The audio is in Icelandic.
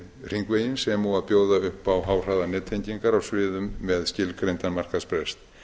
hringveginn sem og að bjóða upp á háhraðanettengingar á sviðum með skilgreindan markaðsbrest